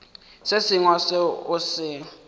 se sengwe seo o se